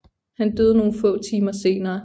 Han døde nogle få timer senere